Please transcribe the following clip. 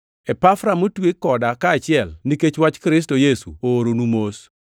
Epafra motwe koda kaachiel nikech wach Kristo Yesu ooronu mos.